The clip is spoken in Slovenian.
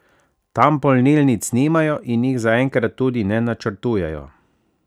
Tam polnilnic nimajo in jih zaenkrat tudi ne načrtujejo.